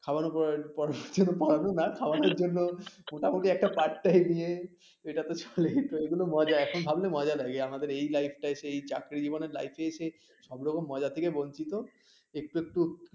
খাওয়ানোর পর কিছু তো পারলই না খাওয়ানোর জন্য মোটামুটি একটা part time নিয়ে সেটা তো চলেই যেত এটা তো মজা এখন ভাবলে মজা লাগে আমাদের এই life টা সেই চাকরি জীবনের লাইফ টা এসে সব রকম মজা থেকে বঞ্চিত একটু একটু